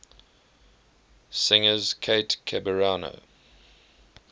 singers kate ceberano